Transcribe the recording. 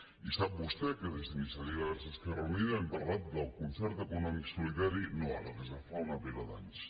i sap vostè que des d’iniciativa verds esquerra unida hem parlat del concert econòmic solidari no ara des de fa una pila d’anys